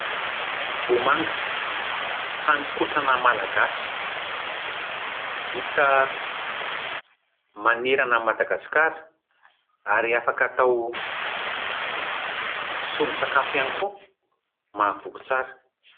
Vomanga, hanin-kotrana malagasy, hita manerana an'i Madagasikara ary afaka atao solon'tsakafo ihany koa, mahavoky tsara.